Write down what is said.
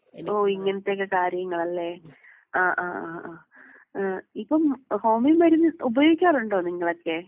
ഓഹ് ഇങ്ങനത്തെ ഒക്കെ കാര്യങ്ങളല്ലേ? ആഹ് ആഹ് ആഹ് ആഹ്. ഏഹ് ഇപ്പം ഹോമിയോ മരുന്ന് ഉപയോഗിക്കാറുണ്ടോ നിങ്ങളൊക്കേ?